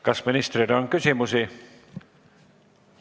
Kas ministrile on küsimusi?